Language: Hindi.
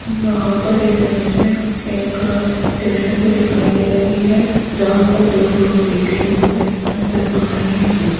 यहां पर इस इमेज में एक स्टेशनरी दिखाई दे रही है जहां पर दो लोग बैठे हुए नजर आ रहे हैं।